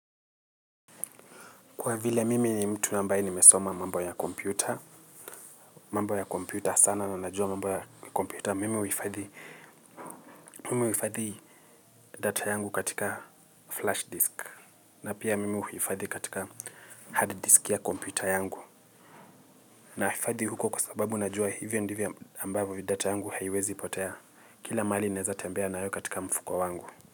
Kwa vile mimi ni mtu ambaye nimesoma mambo ya kompyuta mambo ya kompyuta sana na najua mambo ya kompyuta mimi huifadhi data yangu katika flash disk na pia mimi huifadhi katika hard disk ya kompyuta yangu naifadhi huko kwa sababu najua hivyo ndivyo ambavyo data yangu haiwezi potea kila mahali naeza tembea nayo katika mfuko wangu.